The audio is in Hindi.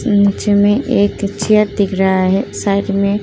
नीचे में एक चेयर दिख रहा है। साइड में --